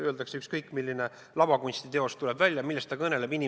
Kui ükskõik milline lavakunstiteos tuleb välja, siis millest see kõneleb?